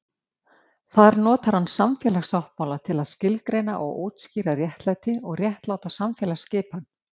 Þar notar hann samfélagssáttmála til að skilgreina og útskýra réttlæti og réttláta samfélagsskipan.